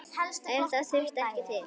En það þarf ekki til.